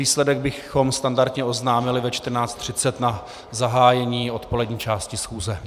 Výsledek bychom standardně oznámili ve 14.30 na zahájení odpolední části schůze.